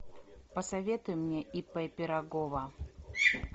посоветуй мне ип пирогова